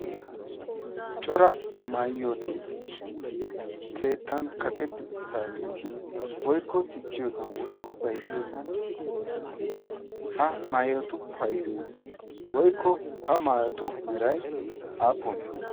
Cora maayoti keettan kaqetti uttaageeti woykko sikkiyosan woykko bayzziyosan de"oosona. Ha maayotu payidoyi woykko ha maayotu merayi aappunee?